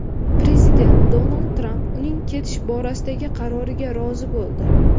Prezident Donald Tramp uning ketish borasidagi qaroriga rozi bo‘ldi.